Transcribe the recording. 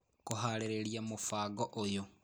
Kũhaarĩria mũbango ũyũ